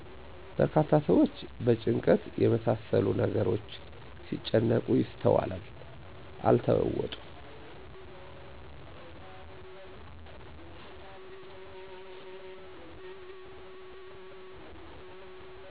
በርካታ ሰዎች በጭንቀት የመሳሰሉ ነገሮች ሲጨነቁ ይስተዋላሉ። አልተለወጡም